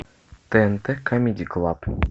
тнт камеди клаб